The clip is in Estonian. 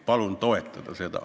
Palun seda toetada!